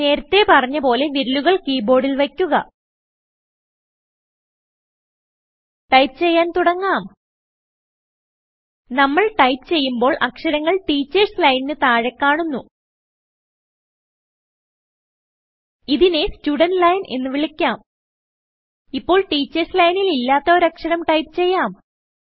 നേരത്തെ പറഞ്ഞ പോലെ വിരലുകൾ കീ ബോർഡിൽ വയ്ക്കുക ടൈപ്പ് ചെയ്യാൻ തുടങ്ങാം നമ്മൾ ടൈപ്പ് ചെയ്യുമ്പോൾ അക്ഷരങ്ങൾ ടീച്ചേർസ് ലൈനിന് താഴെ കാണുന്നു ഇതിനെ സ്റ്റുടന്റ് ലൈൻ എന്ന് വിളിക്കാം ഇപ്പോൾ ടീച്ചേർസ് ലൈനിൽ ഇല്ലാത്ത ഒരു അക്ഷരം ടൈപ്പ് ചെയ്യാം